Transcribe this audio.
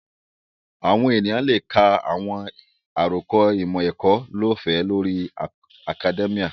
Àwọn èèyàn lè ka àwọn àròkọ ìmọ̀-ẹ̀kọ́ lọ́ọ̀fẹ́ lórí akadẹ́míà